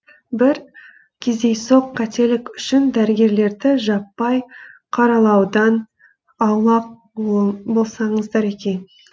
бір кездейсоқ қателік үшін дәрігерлерді жаппай қаралаудан аулақ болсаңыздар екен